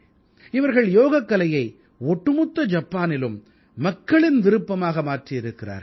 இவர்கள் யோகக்கலையை ஒட்டுமொத்த ஜப்பானிலும் மக்களின் விருப்பமாக மாற்றியிருக்கிறார்கள்